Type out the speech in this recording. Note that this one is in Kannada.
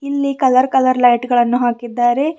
ಇಲ್ಲಿ ಕಲರ್ ಕಲರ್ ಲೈಟ್ ಗಳನ್ನು ಹಾಕಿದ್ದಾರೆ.